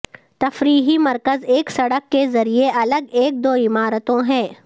تفریحی مرکز ایک سڑک کے ذریعے الگ ایک دو عمارتوں ہے